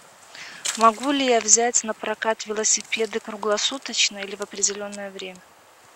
могу ли я взять на прокат велосипеды круглосуточно или в определенное время